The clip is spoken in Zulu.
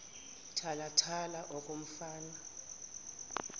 thala thala okomfana